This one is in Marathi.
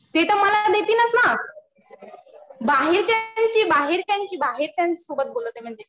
ते तर मला देतीलच ना. बाहेरच्यांची, बाहेरच्यांसोबत बोलत आहे म्हणजे.